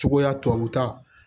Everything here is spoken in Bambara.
Cogoya tubabu ta